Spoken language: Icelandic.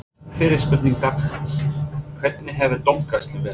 Fyrri spurning dagsins: Hvernig hefur dómgæslan verið?